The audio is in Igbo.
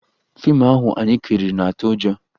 Fiimu ahụ anyị kiriri na-atụ ụjọ